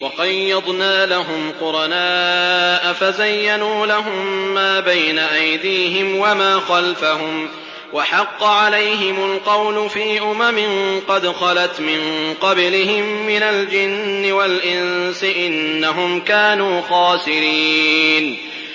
۞ وَقَيَّضْنَا لَهُمْ قُرَنَاءَ فَزَيَّنُوا لَهُم مَّا بَيْنَ أَيْدِيهِمْ وَمَا خَلْفَهُمْ وَحَقَّ عَلَيْهِمُ الْقَوْلُ فِي أُمَمٍ قَدْ خَلَتْ مِن قَبْلِهِم مِّنَ الْجِنِّ وَالْإِنسِ ۖ إِنَّهُمْ كَانُوا خَاسِرِينَ